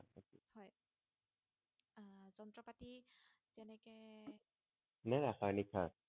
নে ৰাসায়নিক সাৰ